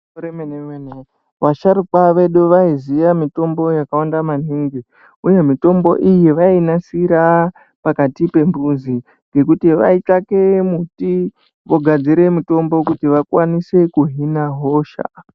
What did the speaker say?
Igwinyiso remene-mene vasharukwa vedu vaiziya mitombo yakawanda maningi, uye mitombo iyi vainasira pakati pembuzi pekuti vaitsvake muti vogadzire mutombo kuti vakwanise kuhina hosha.